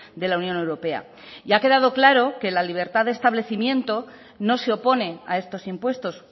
de la unión europea y ha quedado claro que la libertad de establecimiento no se opone a estos impuestos